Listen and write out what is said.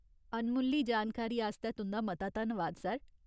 अनमुल्ली जानकारी आस्तै तुंʼदा मता मता धन्नवाद, सर।